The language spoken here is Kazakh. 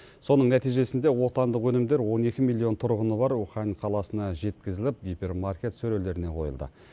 соның нәтижесінде отандық өнімдер он екі миллион тұрғыны бар ухань қаласына жеткізіліп гипермаркет сөрелеріне қойылды